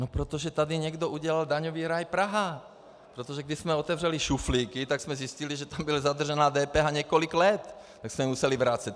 No protože tady někdo udělal daňový ráj Praha, protože když jsme otevřeli šuflíky, tak jsme zjistili, že tu byla zadržená DPH několik let, tak jsme museli vracet.